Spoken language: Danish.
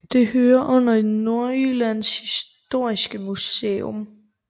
Det hører under Nordjyllands Historiske Museum